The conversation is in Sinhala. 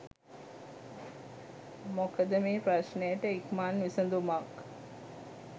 මොකද මේ ප්‍රශ්නයට ඉක්මන් විසඳුමක්